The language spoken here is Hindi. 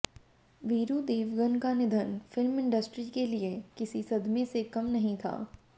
वीरू देवगन का निधन फिल्म इंडस्ट्री के लिए किसी सदमें से कम नहीं था